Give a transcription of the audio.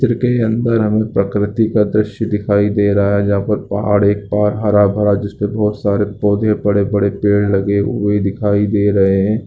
चित्र के अंदर हमें प्रकृति का दृश्य दिखाई दे रहा है जहाँ पर पहाड़ एक पहाड़ हरा-भरा जिसपे बहुत सारे पोधे बड़े-बड़े पेड़ लगे हुए दिखाई दे रहें हैं।